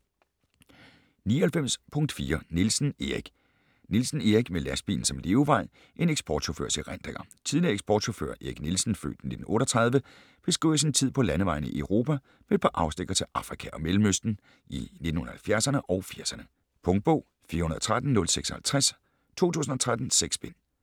99.4 Nielsen, Erik Nielsen, Erik: Med lastbilen som levevej: en eksportchaufførs erindringer Tidligere eksportchauffør Erik Nielsen (f. 1938) beskriver sin tid på landevejene i Europa, med et par afstikkere til Afrika og Mellemøsten, i 1970´erne og 80´erne. Punktbog 413056 2013. 6 bind.